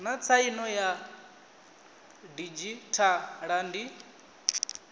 naa tsaino ya didzhithala ndi